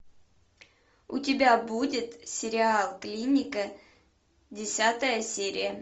у тебя будет сериал клиника десятая серия